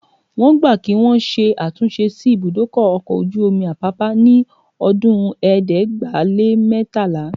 Wọ́n gbà kí wọn ṣe àtúnṣe sí ibùdó ọkọ̀ ojú omi Apápá ní ọdún ẹ̀ẹ́dẹ́gbàá-lé-mẹ́tàlá